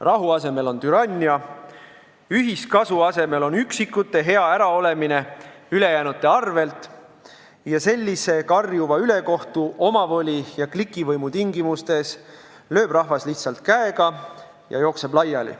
Rahu asemel on siis türannia, ühiskasu asemel on üksikute hea äraolemine ülejäänute arvel ning sellise karjuva ülekohtu, omavoli ja klikivõimu tingimustes lööb rahvas lihtsalt käega ja jookseb laiali.